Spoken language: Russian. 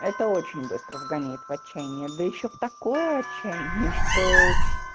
это очень быстро вгоняет в отчаянии да ещё в такое отчаяние что